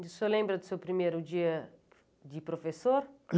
E o senhor lembra do seu primeiro dia de professor?